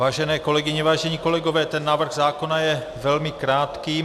Vážené kolegyně, vážení kolegové, ten návrh zákona je velmi krátký.